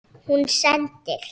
Hún sendir